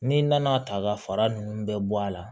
N'i nana ta ka fara nunnu bɛɛ bɔ a la